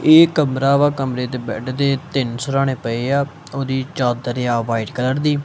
ਏਹ ਕਮਰਾ ਵਾ ਕਮਰੇ ਤੇ ਬੇਡ ਦੇ ਤਿੰਨ ਸਿਰਹਾਣੇ ਪਏ ਆ ਓਹਦੀ ਚਾਦਰ ਆ ਵ੍ਹਾਈਟ ਕਲਰ ਦੀ।